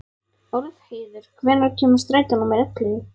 Álfheiður, hvenær kemur strætó númer ellefu?